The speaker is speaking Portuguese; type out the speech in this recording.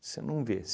Você não vê.